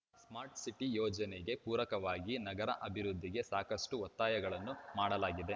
smart city ಯೋಜನೆಗೆ ಪೂರಕವಾಗಿ ನಗರ ಅಭಿವೃದ್ಧಿಗೆ ಸಾಕಷ್ಟುಒತ್ತಾಯಗಳನ್ನು ಮಾಡಲಾಗಿದೆ